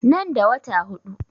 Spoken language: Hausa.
Nan da wata huɗu